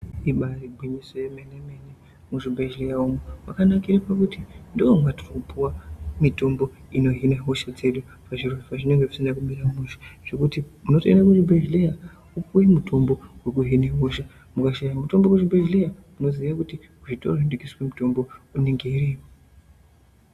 Ribaari gwinyiso remene mene kuti muzvibhehleya umu makanakira kuti nooneka mitombo inohina hosha dzedu pazvinenge zvisina kumira mushe Zvokuyi unotoenda kuzvibhehleya wopuwa mutombo wekuhina hosha ukashaya mutombo kuzvibhehleya unomhanya kuenda kuzvitoro zvidiki zvinotengesa mutombo.